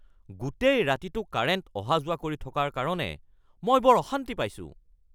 গোটেই ৰাতিটো কাৰেণ্ট অহা-যোৱা কৰি থকাৰ কাৰণে মই বৰ অশান্তি পাইছোঁ